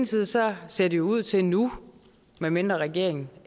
side så ser det jo ud til nu medmindre regeringen